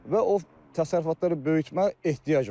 Və o təsərrüfatları böyütməyə ehtiyac var.